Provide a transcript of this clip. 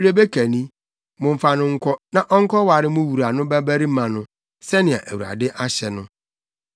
Rebeka ni. Momfa no nkɔ, na ɔnkɔware mo wura no babarima no, sɛnea Awurade ahyɛ no.”